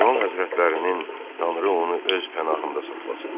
Kardinal həzrətlərinin, Tanrı onu öz pənahında saxlasın.